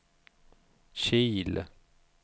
Kil